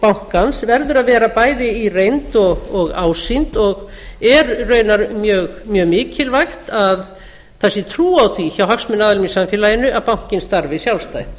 bankans verður að vera bæði í reynd og ásýnd og er raunar mjög mikilvægt að það sé trú á því hjá hagsmunaaðilum í samfélaginu að bankinn starfi sjálfstætt